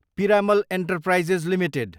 Piramal enterprises Ltd